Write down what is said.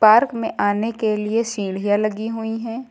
Park में आने के लिए सीढ़ियां लगी हुई हैं।